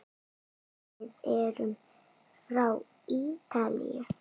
Við erum frá Ítalíu.